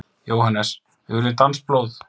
JÓHANNES: Við viljum danskt blóð!